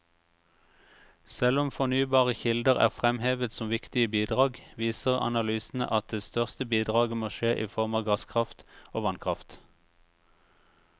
Selv om fornybare kilder er fremhevet som viktige bidrag, viser analysene at det største bidraget må skje i form av gasskraft og vannkraft.